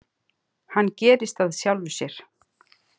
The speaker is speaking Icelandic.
Hann gerist af sjálfu sér.